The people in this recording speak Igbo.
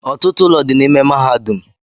Ọtụtụ ụlọ dị n'ime mahadum